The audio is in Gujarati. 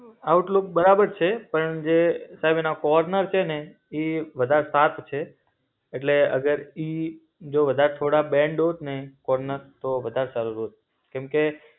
આઉટલૂક બરાબર છે, પણ જે એમ એના કોર્નર છેને ઇ વધાર શાર્પ છે. એટલે અગર ઇ જો કદાચ થોડા બેન્ડ હોતને, કોર્નર, તો વધાર સારું હોત. કેમ કે